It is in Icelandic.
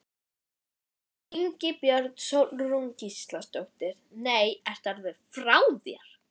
Ingibjörg Sólrún Gísladóttir: Nei, ertu alveg frá þér?